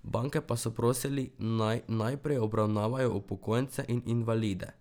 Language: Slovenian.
Banke pa so prosili, naj najprej obravnavajo upokojence in invalide.